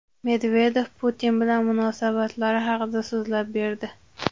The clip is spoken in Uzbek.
Medvedev Putin bilan munosabatlari haqida so‘zlab berdi.